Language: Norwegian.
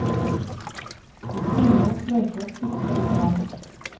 Det triller og fløyter og kvitrer overalt.